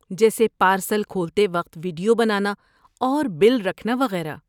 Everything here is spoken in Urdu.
جیسے پارسل کھولتے وقت ویڈیو بنانا اور بل رکھنا وغیرہ۔